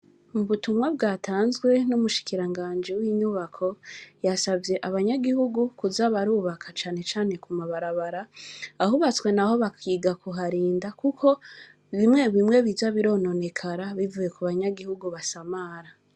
Ubutumwa bwatanzwe numushikiranganji winyubako yasavye abanyagihugu kuza barubaka cane cane ku mabarabara ahubatswe naho bakiga kuharinda kuko bimwe bimwe biza birononekara bivuye kubanyagihugu basamara.